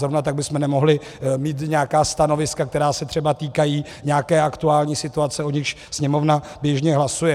Zrovna tak bychom nemohli mít nějaká stanoviska, která se třeba týkají nějaké aktuální situace, o níž Sněmovna běžně hlasuje.